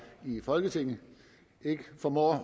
i folketinget ikke formår